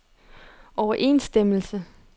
overensstemmelse